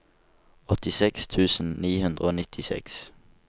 åttiseks tusen ni hundre og nittiseks